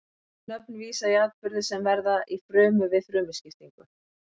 Þessi nöfn vísa í atburði sem verða í frumu við frumuskiptingu.